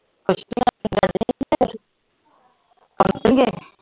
ਨਹੀਂ ਗਏ